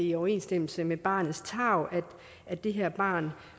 i overensstemmelse med barnets tarv at det her barn